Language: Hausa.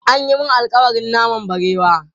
An yi mun alƙawarin naman barewa.